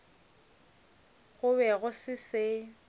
go be go se se